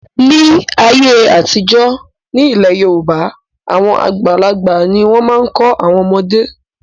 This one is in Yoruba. Ní ayé àtijọ́, nílẹ̀ Yorùbá àwọn àgbàlagbà ni wọ́n máa ń kọ́ àwọn ọmọdé.